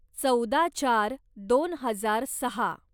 चौदा चार दोन हजार सहा